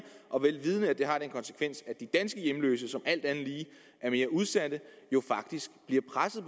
og vel vidende at det har den konsekvens at de danske hjemløse som alt andet lige er mere udsatte jo faktisk bliver presset